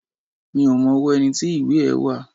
Mi ò mọ ọwọ́ ẹni tí ìwé ẹ́ wà